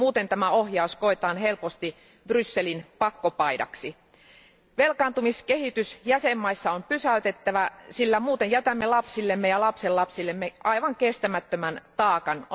Muuten tämä ohjaus koetaan helposti Brysselin pakkopaidaksi. Velkaantumiskehitys jäsenvaltioissa on pysäytettävä, sillä muuten jätämme lapsillemme ja lapsenlapsillemme aivan kestämättömän taakan.